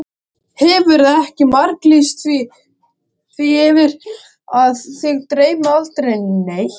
Hefurðu ekki marglýst því yfir að þig dreymi aldrei neitt?